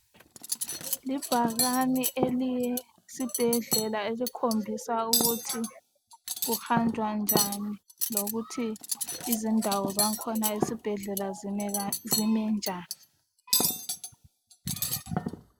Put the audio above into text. Libhakane eliyesibhedlela elikhombisa ukuthi kuhanjwa njani lokuthi indawo zakhona ezibhedlela zime njani.